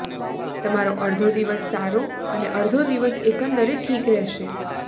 તમારો અડધો દિવસ સારો અને અડધો દિવસ એકંદરે ઠીક રહેશે